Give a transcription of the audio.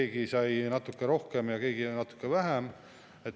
Keegi sai natuke rohkem ja keegi natukene vähem.